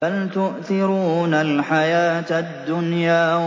بَلْ تُؤْثِرُونَ الْحَيَاةَ الدُّنْيَا